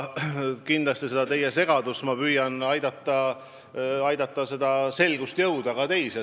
Kindlasti ma püüan teid aidata asjas selgusele jõuda, et seda segadust vähendada.